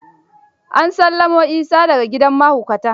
An sallamo Isa da ga gidan mahaukata.